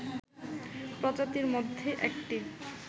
প্রজাতির মধ্যে একটি